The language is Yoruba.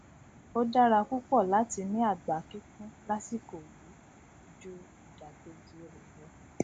ó dára púpọ láti ní àgbá kíkún lásìkò yìí ju ìdàkéjì rẹ lọ